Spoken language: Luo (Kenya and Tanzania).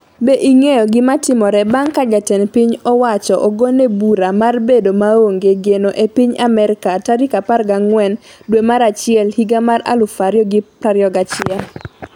Be ing'eyo gimatimore bang' ka jatend piny owacho ogone bura mar bedo maonge geno e piny Amerka tarik 14 dwe mar achiel higa mar 2021?